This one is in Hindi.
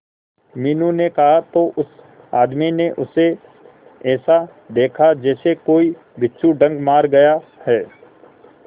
मीनू ने कहा तो उस आदमी ने उसे ऐसा देखा जैसे कि कोई बिच्छू डंक मार गया है